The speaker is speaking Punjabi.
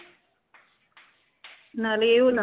ਨਾਲੇ ਏਹੋ